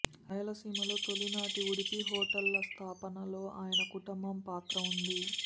రాయలసీమలో తొలి నాటి ఉడిపి హోటళ్ల స్థాపనలో ఆయన కుటుంబం పాత్ర ఉంది